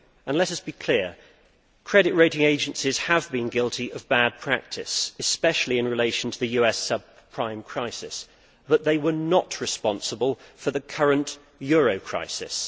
Let us be clear credit rating agencies have been guilty of bad practice, especially in relation to the US subprime crisis, but they were not responsible for the current euro crisis.